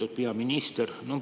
Lugupeetud peaminister!